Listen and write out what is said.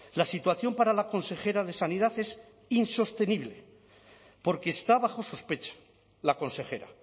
la situación para la consejera de sanidad es insostenible porque está bajo sospecha la consejera